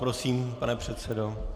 Prosím, pane předsedo.